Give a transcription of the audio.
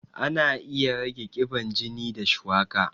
Ana iya rage ƙiban jini da shuwaka